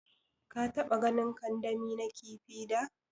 ka taɓa ganin kandami na kifi da?